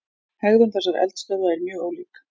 Hegðun þessara eldstöðva er mjög ólík.